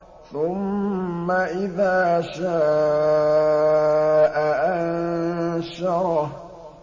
ثُمَّ إِذَا شَاءَ أَنشَرَهُ